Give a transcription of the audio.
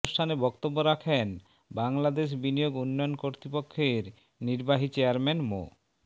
অনুষ্ঠানে বক্তব্য রাখেন বাংলাদেশ বিনিয়োগ উন্নয়ন কর্তৃপক্ষের নির্বাহী চেয়ারম্যান মো